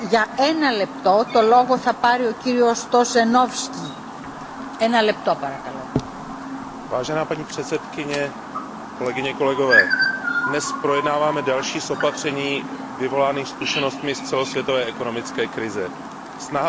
Paní předsedající, dnes projednáváme další z opatření vyvolaných zkušenostmi z celosvětové ekonomické krize. Snaha o sledování trhu s OTC deriváty a případně nezbytná regulace při extrémním chování je asi rozumná.